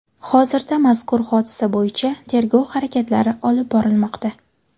Hozirda mazkur hodisa bo‘yicha tergov harakatlari olib borilmoqda.